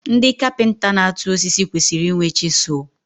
Ndị kapịnta na-atụ osisi kwesịrị inwe chịsụl